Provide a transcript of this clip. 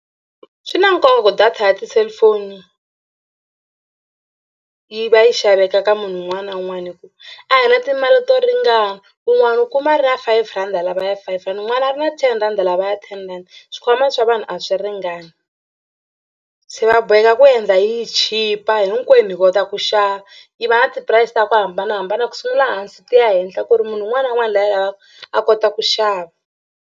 Swi na nkoka ku data ya ti-cellphone yi va yi xaveka ka munhu un'wana na un'wana hi ku a hi na timali to ringana wun'wani u kuma a ri na five rand a lava ya five rand un'wana a ri na ten rand lava ya ten rand. Swikhwama swa vanhu a swi ringani se va boheka ku endla yi chipa hinkwenu hi kota ku xava yi va na ti-price ta ku hambanahambana ku sungula hansi ti ya henhla ku ri munhu un'wana na un'wana loyi a yi lavaka a kota ku xava.